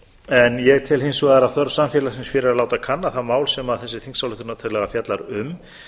en ég tel hins vegar að þörf samfélagsins fyrir að láta kanna það mál sem þessi þingsályktunartillaga fjallar um